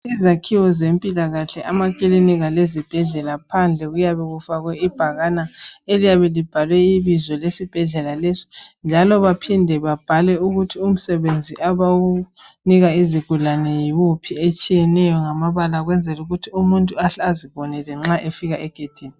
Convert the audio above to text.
Izakhiwo zempilakahle amakiliniki lezibhedlela phandle kuyafe kufakwe ibhakane libhaliwe ukuthi umsebenzi abawunika izigulane yi wuphi, njalo kuphinde kubhalwe ukuthi umsebenzi abawunika izigulane yi wuphi ukwenzela ukuthi umuntu ahle azibonele nxa efaka egedini.